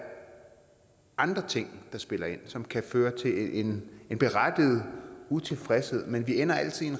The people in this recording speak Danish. andre ting der spiller ind og som kan føre til en berettiget utilfredshed men vi ender altid